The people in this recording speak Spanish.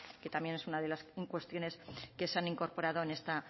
que también es una de las cuestiones que se han incorporado en esta